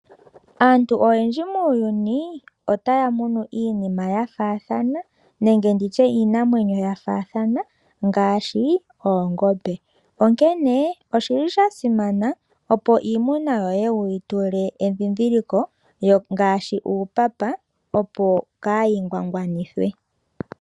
Aantu oyendji muuyuni otaya munu iinima ya faathana nenge nditye iinamwenyo ya faathana ngaashi oongombe, onkene oshili sha simana opo iimuna yoye wuyi tule edhidhiliko ngaashi uupapa opo kayi ngwangwanithwe.